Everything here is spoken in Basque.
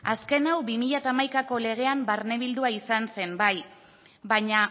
azken hau bi mila hamaikako legean barnebildua izan zen bai baina